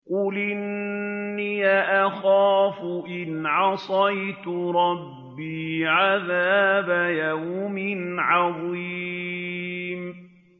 قُلْ إِنِّي أَخَافُ إِنْ عَصَيْتُ رَبِّي عَذَابَ يَوْمٍ عَظِيمٍ